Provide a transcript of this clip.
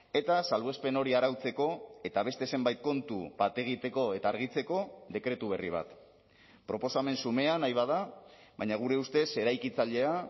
eta salbuespen hori arautzeko eta beste zenbait kontu bat egiteko eta argitzeko dekretu berri bat proposamen xumea nahi bada baina gure ustez eraikitzailea